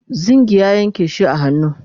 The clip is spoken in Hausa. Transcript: zingi ya Yanke shi a hannu